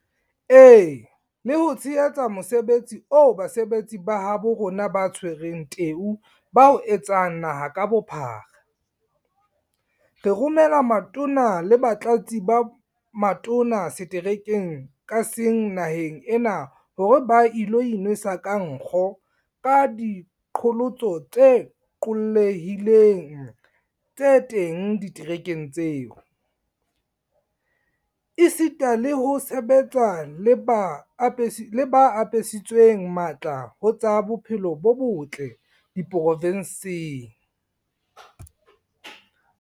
E le ho tshehetsa mosebetsi oo basebetsi ba habo rona ba tshwereng teu ba o etsang naha ka bophara, re romela Matona le Batlatsi ba Matona seterekeng ka seng naheng ena hore ba ilo inwesa ka nkgo ka diqholotso tse qollehileng tse teng diterekeng tseo, esita le ho sebetsa le ba apesitsweng matla ho tsa bophelo bo botle diprovenseng.